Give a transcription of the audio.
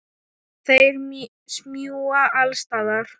Þeir smjúga alls staðar.